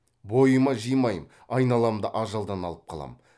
бойыма жимаймын айналамды ажалдан алып қалам